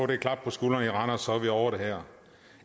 det klap på skulderen i randers så vi ovre det her